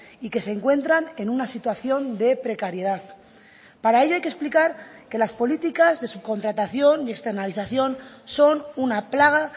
y que se encuentran en una situación de precariedad para ello hay que explicar que las políticas de subcontratación y externalización son una plaga